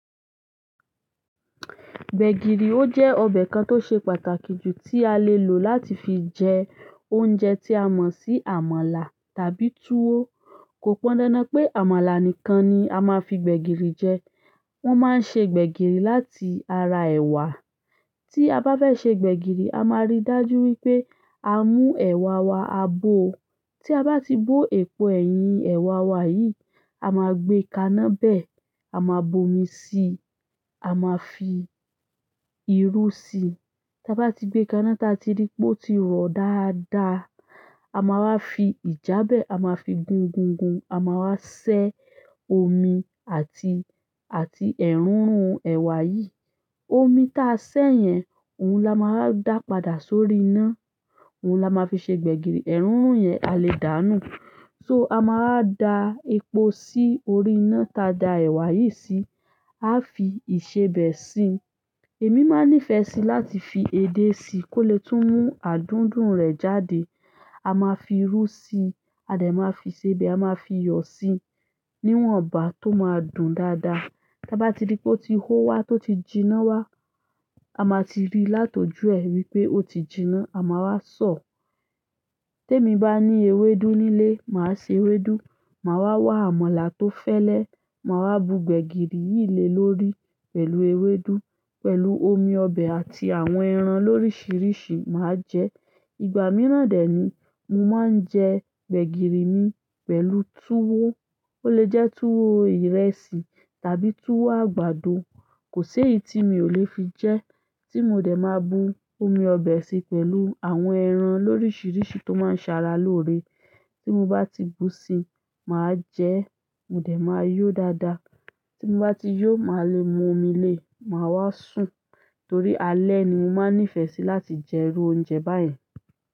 Gbẹ̀gìrì, ó jẹ́ ọbẹ̀ kan tó ṣe pàtàkì jù tí a lè lò láti fi jẹ oúnjẹ tí a mọ̀ sí àmàlà tàbí tuwo. Kò pọ́ndándán pé àmàlà nìkan ni a máa fi gbẹ̀gìrì jẹ. Wọ́n máa ń ṣe gbẹ̀gìrì láti ara ẹ̀wà. Tí a bá fẹ́ ṣe gbẹ̀gìrì, a máa rí i dájú wípé a mú ẹ̀wà wa a bó. Tí a bá ti bó epo ẹ̀yìn ẹ̀wà wa yìí, a máa gbé kaná bẹ̀, a máa bomi síi, a máa fi irú síi. Tá bá ti gbé káná tá ti rí pé ó ti rọ dáadáa, a máa wá fi ìjàbẹ́ a máa fi gún gún gún a máa wá ṣẹ́ omi àti, àti ẹrunrun ẹ̀wà yí. Omi ta a ṣẹ́ yẹn, òun la máa dà padà sórí iná. Òun la máa fi ṣe gbẹ̀gìrì. Ẹ̀rún yẹn a lè dàánù. So, a máa dá epo sí orí iná tá dá ẹ̀wà yìí sí, a fi ìṣebẹ́ sí èmi máa nífẹ̀ẹ́ sí láti fi edé sí í kó lè tún mú adùndún rẹ̀ jáde. A máa fi irú síí, a dà máa fi ìsebẹ̀, a máa fi iyọ̀ sí i, níwọ̀nba tó máa dùn dáadáa. Tá bá ti rí pé ó ti hó wá tí ó ti jinná wá, a máa ti rí lát'ojú ẹ wípé ó ti jinná, a máa wá sọ̀. Tèmi bá ní ewédú nílé, màá ṣe ewédú, màá wá wá àmàlà tó fẹ́lẹ́, màá wá bu gbẹ̀gìrì yìí le lórí pẹ̀lú ewédú, pẹ̀lú omi ọbẹ̀ àti àwọn ẹran lóríṣiríṣi, màá jẹ. Ìgbà mìíràn dẹ́ ni, mo máa ń jẹ gbẹ̀gìrì mi pẹ̀lú tuwo. Ó lè jẹ́ tuwo ìrẹsì tàbí tuwo àgbàdo. Kò ṣe éyí tí mi ò lè fi jẹ. Tí mo dè máa bu omi ọbẹ̀ sí i pẹ̀lú àwọn ẹran lóríṣiríṣi tó máa ń ṣàrà lórí. Tí mo bá ti bù sí máa jẹ mo dẹ̀ máa yó dáadáa. Tí mo bá ti yó, màá le mu omi lé, màá wá sùn. Torí àlẹ́ ní mo máa ń nìfẹ́ sí láti jẹ irú oúnjẹ bá yẹn.